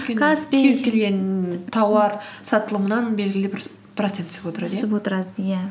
кез келген тауар сатылымнан белгілі бір процент түсіп отырады иә түсіп отырады иә